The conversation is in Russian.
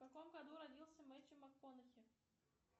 в каком году родился мэттью макконахи